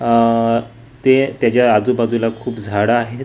आह ते त्याच्या आजूबाजूला खूप झाडं आहेत.